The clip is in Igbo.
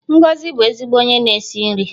Ngozi ọ̀ bụ ezigbo onye na-esi nri?